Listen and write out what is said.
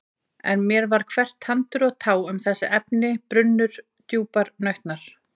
En mér var hvert tandur og tá um þessi efni brunnur djúprar nautnar.